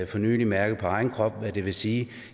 for nylig mærket på egen krop hvad det vil sige